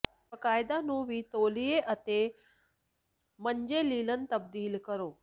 ਬਾਕਾਇਦਾ ਨੂੰ ਵੀ ਤੌਲੀਏ ਅਤੇ ਮੰਜੇ ਲਿਨਨ ਤਬਦੀਲ ਕਰੋ